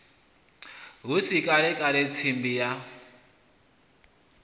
hu si kalekale tsimbi ya